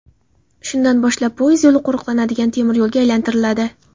Shundan boshlab poyezd yo‘li qo‘riqlanadigan temiryo‘lga aylantiriladi.